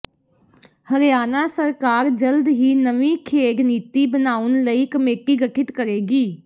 ਹਰਿਆਣਾ ਸਰਕਾਰ ਜਲਦ ਹੀ ਨਵੀਂ ਖੇਡ ਨੀਤੀ ਬਣਾਉਣ ਲਈ ਕਮੇਟੀ ਗਠਿਤ ਕਰੇਗੀ